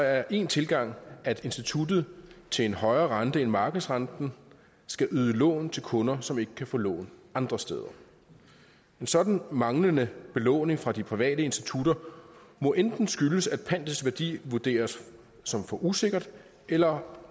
er en tilgang at instituttet til en højere rente end markedsrenten skal yde lån til kunder som ikke kan få lån andre steder en sådan manglende belåning fra de private institutter må enten skyldes at pantets værdi vurderes som for usikkert eller